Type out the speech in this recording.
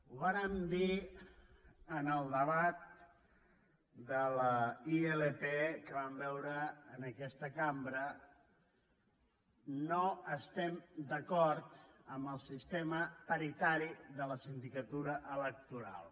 ho vàrem dir en el debat de la ilp que vam veure en aquesta cambra no estem d’acord en el sistema paritari de la sindicatura electo ral